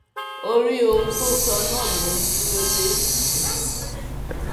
orí ohun tó sọ náà ló dúró lé um